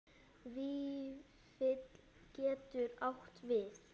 Vífill getur átt við